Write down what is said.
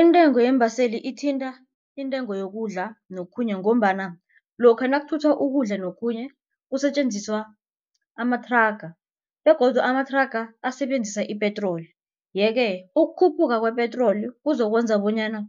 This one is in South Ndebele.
Intengo yeembaseli ithinta intengo yokudla nokhunye ngombana lokha nakuthathwa ukudla nokhunye kusetjenziswa amathraga begodu amathraga asebenzisa ipetroli. Yeke ukukhuphuka kwepetroli kuzokwenza bonyana